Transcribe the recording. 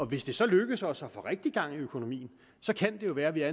hvis det så lykkes os at få rigtig gang i økonomien kan det jo være at vi er